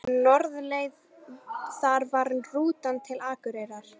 Norðurleið, það var rútan til Akureyrar!